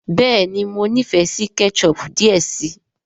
béèni mọ n'ifẹ sí ketchup diẹ sí.